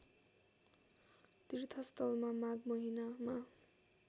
तीर्थस्थलमा माघ महिनामा